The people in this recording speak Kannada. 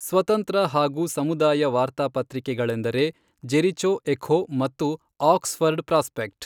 ಸ್ವತಂತ್ರ ಹಾಗೂ ಸಮುದಾಯ ವಾರ್ತಾ ಪತ್ರಿಕೆಗಳೆಂದರೆ ಜೆರಿಚೊ ಎಖೊ ಮತ್ತು ಆಕ್ಸ್ ಫರ್ಡ್ ಪ್ರಾಸ್ಪೆಕ್ಟ್.